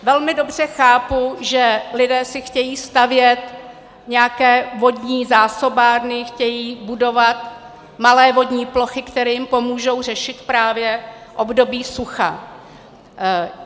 Velmi dobře chápu, že lidé si chtějí stavět nějaké vodní zásobárny, chtějí budovat malé vodní plochy, které jim pomohou řešit právě období sucha.